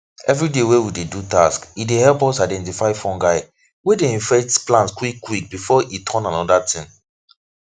everyday wey we dey do tasks e dey help us identify fungi wey dey infect plants quick quick before e turn another thing